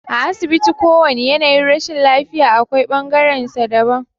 A asibiti kowane yanayin rashin lafiya akwai bangaren sa daban